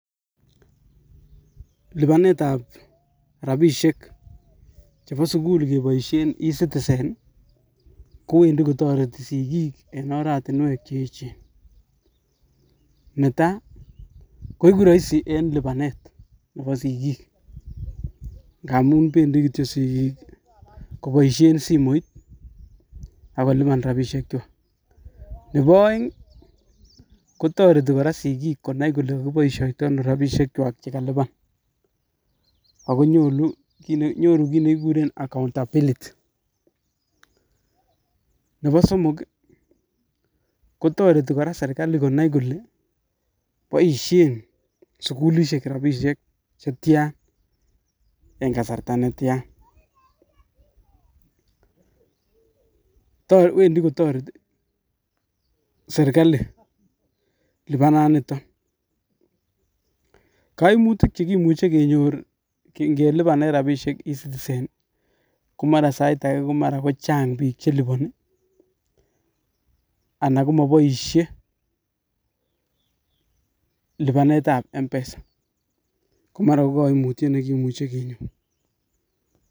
Lipanet ab rabisiek chebo sukul keboisien e citizen, ko Wendi kotoreti sigik eng oratinuek che yechen, netai, ko eku rahisi eng lipanet nebo sigik ngamun bendi kityok sigik ko boisien simoit, ak kolipan rabisiek, nebo aeng kotoreti kora sigik konai ole boisioito rabisiek kwak che kaliban ak ko nyoru kit nekikuren accountability, nebo somok kotoreti kora serikali konai kole boisien sukulishek rabisiek chetyan and kasarta netyan, Wendi kotoreti serikali lipana niton, koimutik che imuche kenyor inge lipanen rabisiek e citizen ko mara sait ake ko chang bik che liponi ii, anan ko maboisie lipanet ab mpesa komara ko kaimutiet ne imuche kenyor.